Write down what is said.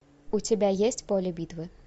у тебя есть поле битвы